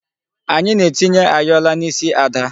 Anyị na-etinye ayọla n'isi Ada.